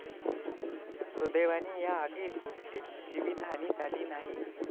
सुदैवाने या आगीत कुठलीच जीवीतहानी झाली नाही.